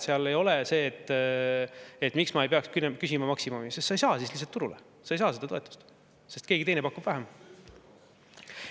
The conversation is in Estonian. Seal ei ole nii, et miks ei peaks küsima maksimumi, sest siis lihtsalt ei saa turule, ei saa seda toetust, kuna keegi teine pakub vähem.